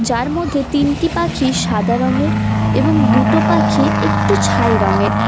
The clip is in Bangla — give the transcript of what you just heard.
তার মধ্যে তিনটি পাখি সাদা রঙের এবং দুটো পাখি একটু ছাই রংয়ের।